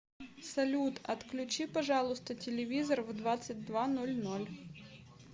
салют отключи пожалуйста телевизор в двадцать два ноль ноль